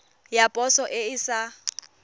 ya poso e e sa